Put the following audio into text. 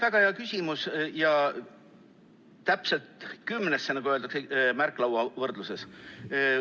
Väga hea küsimus, täpselt kümnesse, nagu öeldakse märklauavõrdluses.